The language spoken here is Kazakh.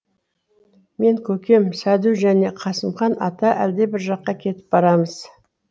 мен көкем сәду жане қасымхан ата әлдебір жаққа кетіп барамыз